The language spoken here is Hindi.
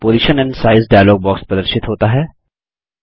पोजिशन एंड साइज डायलॉग प्रदर्शित होता है